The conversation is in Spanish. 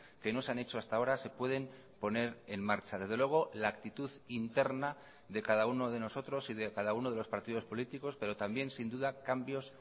que no se han hecho hasta ahora se pueden poner en marcha desde luego la actitud interna de cada uno de nosotros y de cada uno de los partidos políticos pero también sin duda cambios